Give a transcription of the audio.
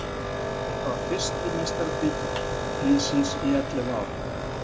Þetta var fyrsti meistaratitill liðsins í ellefur ár.